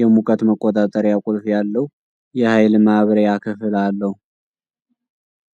የሙቀት መቆጣጠሪያ ቁልፍ ያለው የኃይል ማብሪያ ክፍል አለው።